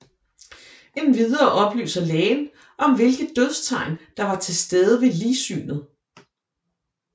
Endvidere oplyser lægen om hvilke dødstegn der var tilstede ved ligsynet